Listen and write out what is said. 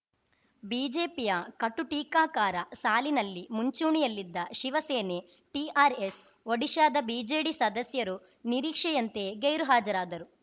ಬಿಜೆಪಿಯ ಕಟುಟೀಕಾಕಾರ ಸಾಲಿನಲ್ಲಿ ಮುಂಚೂಣಿಯಲ್ಲಿದ್ದ ಶಿವಸೇನೆ ಟಿಆರ್‌ಎಸ್‌ ಒಡಿಶಾದ ಬಿಜೆಡಿ ಸದಸ್ಯರು ನಿರೀಕ್ಷೆಯಂತೆಯೇ ಗೈರುಹಾಜರಾದರು